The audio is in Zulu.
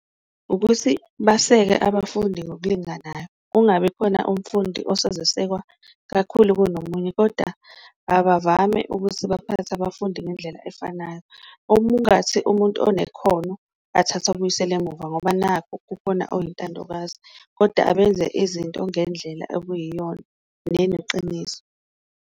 Ukuthi baseke abafundi ngokulinganayo kungabi khona umfundi osezosekwa kakhulu kunomunye, koda abavame ukuthi baphathe abafundi ngendlela efanayo. Okungathi umuntu onekhono athathe abuyisele emuva ngoba nakhu kukhona oyintandokazi koda abenze izinto ngendlela okuyiyona neneqiniso.